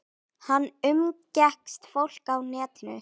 Hann umgekkst fólk á netinu.